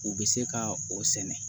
U bɛ se ka o sɛnɛ